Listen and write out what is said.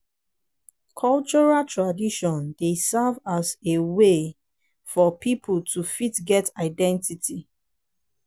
cultural tradition dey serve as a a wey for pipo to fit get identity